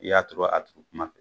I y'a turu a turu kuma